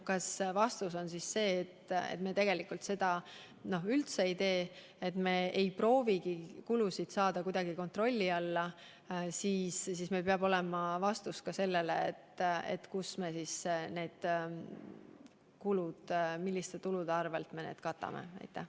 Kui vastus on see, et me ei proovigi kulusid kontrolli alla saada, siis peab meil olema vastus ka sellele, milliste tuludega me need kulud katame.